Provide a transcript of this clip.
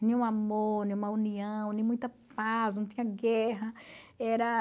um amor, uma união, muita paz, não tinha guerra. Era...